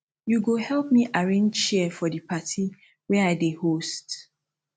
you go help me arrange chair for di party wey i dey host